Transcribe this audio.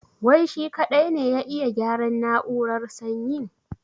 Wai shi kaɗai ne ya iya gyaran na'urar sanyin?